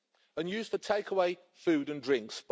and used for takeaway food and drinks.